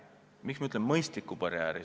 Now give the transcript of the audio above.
Miks ma ütlen "mõistlikud barjäärid"?